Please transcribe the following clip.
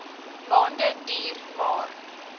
maande duur maar